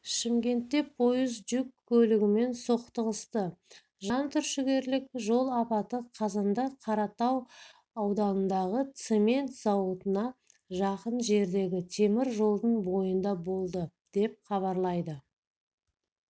шымкентте пойыз жүк көлігімен соқтығысты жантүршігерлік жол апаты қазанда қаратау ауданындағы цемент зауытына жақын жердегі темір жолдың бойында болды деп хабарлайды